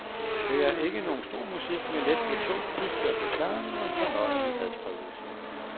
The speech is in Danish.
Det er ikke nogen stor musik, men let på tå, udført med charme, og en fornøjelig adspredelse.